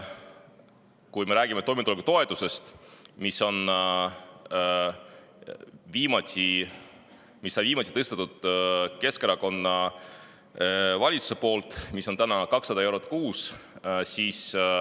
Või räägime toimetulekutoetusest, mida viimati tõstis Keskerakonna valitsus ja mis on 200 eurot kuus.